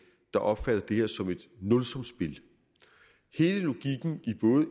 der opfatter det her som et nulsumsspil hele logikken